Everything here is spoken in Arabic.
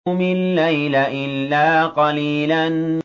قُمِ اللَّيْلَ إِلَّا قَلِيلًا